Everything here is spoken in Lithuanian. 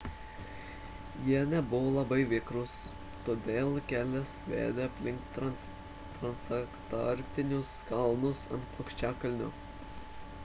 jie nebuvo labai vikrūs todėl kelias vedė aplink transantarktinius kalnus ant plokščiakalnio